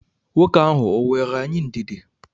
Nwoke ahụ o nweere anyị ndidi?